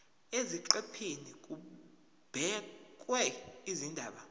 eziqephini kubhekwe izindaba